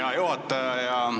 Hea juhataja!